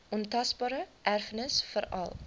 ontasbare erfenis veral